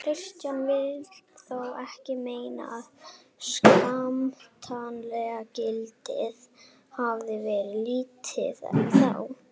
Kristján vill þó ekki meina að skemmtanagildið hafið verið lítið þá.